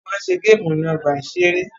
Wọ́n má ń ṣe géèmù ní ọgbà-ìṣeré